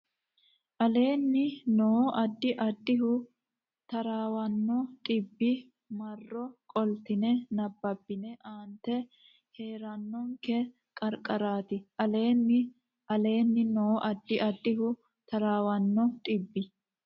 aleenni noo Addi addihu taraawanno dhibbi marro qoltine nabbabbine aante hee rannokki qarqaraati aleenni aleenni noo Addi addihu taraawanno dhibbi.